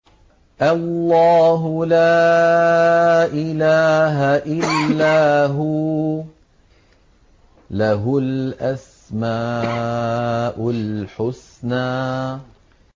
اللَّهُ لَا إِلَٰهَ إِلَّا هُوَ ۖ لَهُ الْأَسْمَاءُ الْحُسْنَىٰ